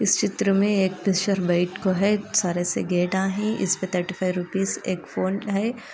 इस चित्र में एक पिक्चर बैठ को है सारे से गेटा है इस्पे थर्टी फाइव रउप्पस एक फ़ोन का है |